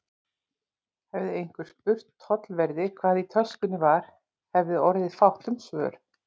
Hefði einhver spurt tollverði, hvað í töskunni var, hefði orðið fátt um svör.